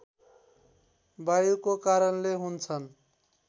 वायुको कारणले हुन्छन्